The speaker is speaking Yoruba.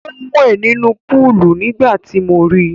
Ó ń wẹ̀ nínú púúlù nígbà tí mo ri.